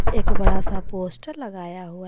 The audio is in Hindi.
एक बड़ा सा पोस्टर लगाया हुआ है।